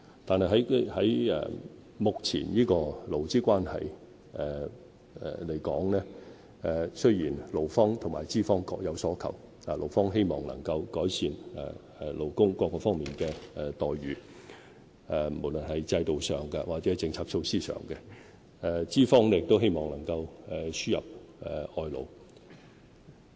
但是，就目前的勞資關係而言，勞方和資方各有所求，勞方希望能夠改善勞工各方面的待遇，無論是制度上，或是政策措施上；資方則希望能夠輸入外勞。